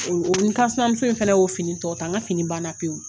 O o n kansinamuso fɛnɛ y'o fini tɔ ta n ka fini banna pewu